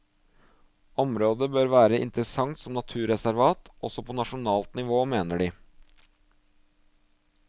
Området bør være interessant som naturreservat også på nasjonalt nivå, mener de.